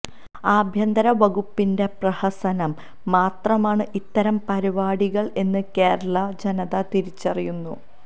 ആഭ്യന്തര വകുപ്പിന്റെ പ്രഹസനം മാത്രമാണ് ഇത്തരം പരിപാടികൾ എന്ന് കേരള ജനത തിരിച്ചറിയുന്നു